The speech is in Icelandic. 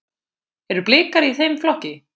Eru Blikar í þeim flokki?